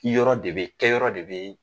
Ki yɔrɔ de be, kɛ yɔrɔ de be